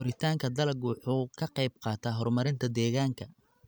Koritaanka dalaggu wuxuu ka qaybqaataa horumarinta deegaanka.